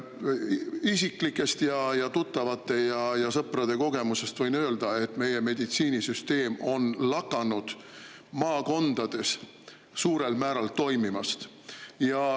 Isiklikest ning tuttavate ja sõprade kogemustest võin öelda, et meie meditsiinisüsteem on lakanud maakondades suurel määral toimimast.